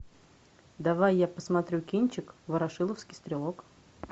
давай я посмотрю кинчик ворошиловский стрелок